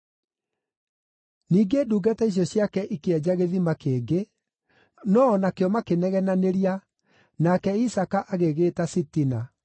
Ningĩ ndungata icio ciake ikĩenja gĩthima kĩngĩ, no-o nakĩo makĩnegenanĩria, nake Isaaka agĩgĩĩta Sitina.